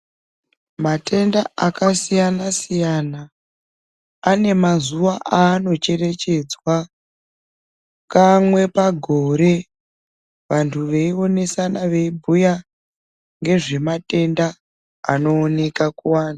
Matenda akasiyana siyana ane mazuva aanocherechedzwa kamwe pagore vantu veionesana veibhuya bgezvematenda anooneka kuanhu.